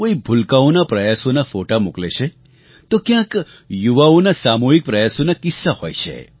કોઈ ભૂલકાઓનાં પ્રયાસોનાં ફૉટા મોકલે છે તો ક્યાંક યુવાઓનાં સામૂહિક પ્રયાસોનાં કિસ્સા હોય છે